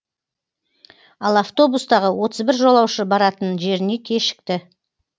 ал автобустағы отыз бір жолаушы баратын жеріне кешікті